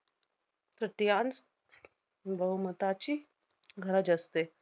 तृतीयांश बहुमताची गरज असते.